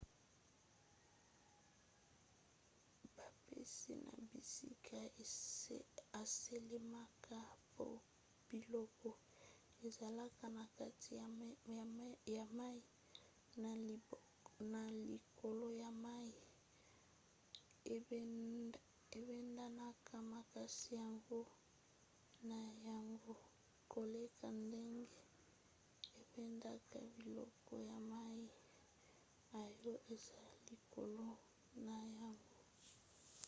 bampasi na bisika esalemaka po biloko ezalaka na kati ya mai na likolo ya mai ebendanaka makasi yango na yango koleka ndenge ebendaka biloko ya mai oyo eza likolo na yango